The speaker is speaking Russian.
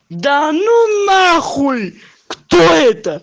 да ну на хуй кто это